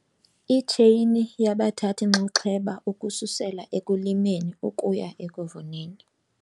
Itsheyini yabathathi-nxaxheba ukususela ekulimeni ukuya ekuvuneni